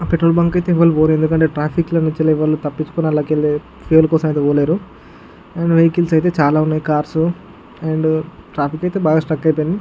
Petrol bunk కి అయితే ఎవరు పోరు ఎందుకు అంటే ట్రాఫిక్ లో నొంది తపించుకొని పోలేరు అందులోకెళ్ళి అయితే పోలేరు అండ్ వెహికల్స్ అయితే చాల ఉన్నాయ్ కార్స్ అండ్ ట్రాఫిక్ అయితే బాగా స్టక్ అయిపోయింది.